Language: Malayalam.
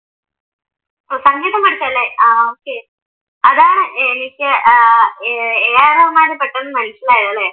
ഓഹ് സംഗീതം പഠിച്ചല്ലേ ആഹ് okay അതാണ് തനിക്ക് എ ആർ റഹ്മാനെ പെട്ടന്ന് മനസ്സിലായത് അല്ലേ?